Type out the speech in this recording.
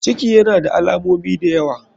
Ciki yana da alamomi dayawa.